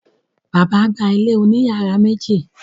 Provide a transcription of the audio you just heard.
Bàbá gba ilé òní yàrá méjì.